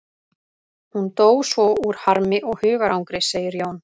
Hún dó svo úr harmi og hugarangri, segir Jón.